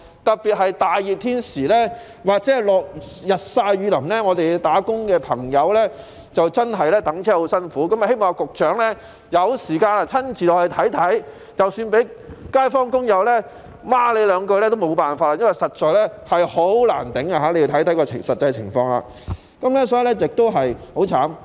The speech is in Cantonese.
特別在炎夏或日曬雨淋的時候，上班的朋友等候巴士時真的十分辛苦，我希望局長有時間可以親自落區看看，即使被街坊或工友罵兩句也沒法子，因為實在難以忍受，局長可以去看看該區的實際情況。